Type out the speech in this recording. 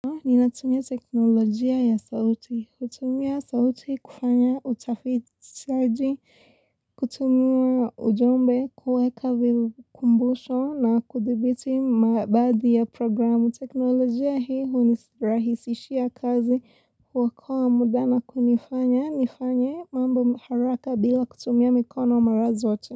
Ninatumia teknolojia ya sauti. Kutumia sauti kufanya utafiti saji, kutumia ujumbe, kuweka vikumbusho na kudhibiti mabadhi ya programu. Teknolojia hii hunirahisishia kazi kuokoa muda na kunifanya. Nifanya mambo mharaka bila kutumia mikono marazote.